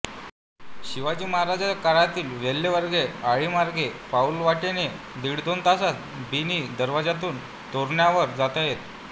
शिवाजी महाराजांच्या काळातील वेल्हेवेग्रे आळीमार्गे पाऊलवाटेने दीडदोन तासात बिनी दरवाजातून तोरण्यावर जाता येते